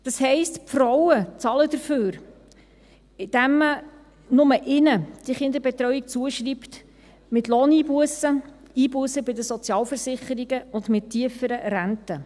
Das heisst, die Frauen zahlen dafür, dass man die Kinderbetreuung nur ihnen zuschreibt, mit Lohneinbussen, Einbussen bei den Sozialversicherungen und mit tieferen Renten.